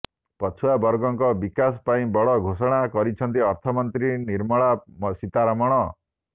ପଛୁଆ ବର୍ଗଙ୍କ ବିକାଶ ପାଇଁ ବଡ଼ ଘୋଷଣା କରିଛନ୍ତି ଅର୍ଥମନ୍ତ୍ରୀ ନିର୍ମଲା ସୀତାରମଣ